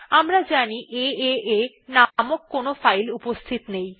আমরা জানি এএ নামক কোন ফাইল উপস্থিত নেই